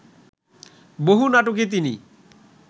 বহু নাটকে তিনি